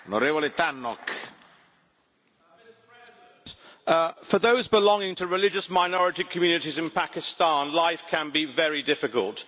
Mr President, for those belonging to religious minority communities in Pakistan, life can be very difficult.